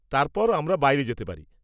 তারপর আমরা বাইরে যেতে পারি।